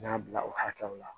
N y'a bila o hakɛw la